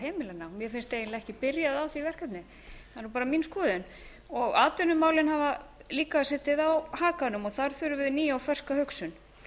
heimilanna mér finnst eiginlega ekki byrjað á því verkefni það er nú bara mín skoðun og atvinnumálin hafa líka setið á hakanum þar þurfum við nýja og ferska hugsun